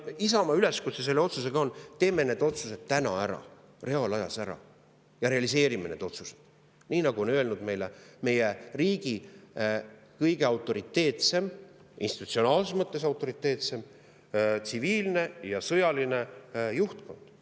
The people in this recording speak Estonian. Isamaa üleskutse selle otsusega on: teeme need otsused täna ära, reaalajas ära ja realiseerime need otsused, nii nagu on öelnud meile meie riigi kõige autoriteetsem, institutsionaalses mõttes autoriteetseim tsiviilne ja sõjaline juhtkond.